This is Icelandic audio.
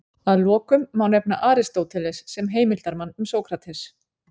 Að lokum má nefna Aristóteles sem heimildarmann um Sókrates.